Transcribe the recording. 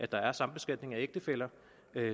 der er sambeskatning af ægtefæller